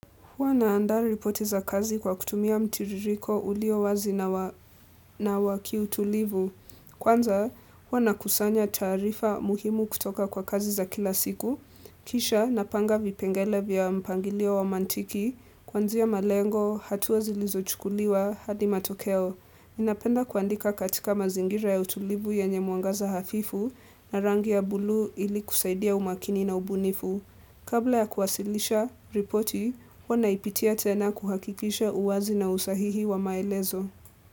Huwa naanda ripote za kazi kwa kutumia mtiririko ulio wazi na wa na wa kiutulivu. Kwanza, huwa nakusanya taarifa muhimu kutoka kwa kazi za kila siku. Kisha, napanga vipengele vya mpangilio wa mantiki, kuanzia malengo, hatua zilizochukuliwa, hadi matokeo. Ninapenda kuandika katika mazingira ya utulivu yanye mwangaza hafifu na rangi ya bluu ili kusaidia umakini na ubunifu. Kabla ya kuwasilisha, ripoti, huwa naipitia tena kuhakikisha uwazi na usahihi wa maelezo.